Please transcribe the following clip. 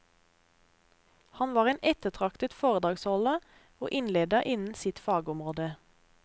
Han var en ettertraktet foredragsholder og innleder innen sitt fagområde.